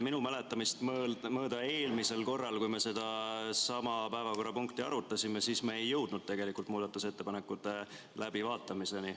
Minu mäletamist mööda eelmisel korral, kui me sedasama päevakorrapunkti arutasime, siis me ei jõudnud tegelikult muudatusettepanekute läbivaatamiseni.